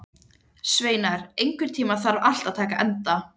Sveinar, einhvern tímann þarf allt að taka enda.